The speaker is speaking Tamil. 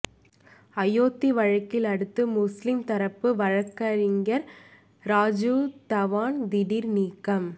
அயோத்தி வழக்கில் அடுத்து முஸ்லிம் தரப்பு வழக்கறிஞர் ராஜீவ் தவான் திடீர் நீக்கம்